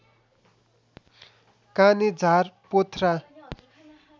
काने झार पोथ्रा